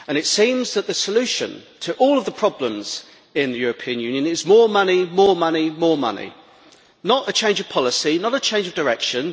It seems that the solution to all of the problems in the European Union is more money, more money, more money not a change of policy, not a change of direction.